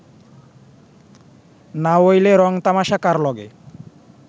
নাওইলে রং-তামশা কার লগে